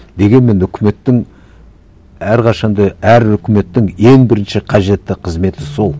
дегенмен үкіметтің әрқашан да әр үкіметтің ең бірінші қажетті қызметі сол